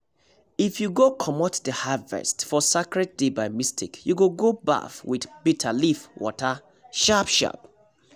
if you go comot the harvest for sacred day by mistake you go baff with bitter leaf water sharp-sharp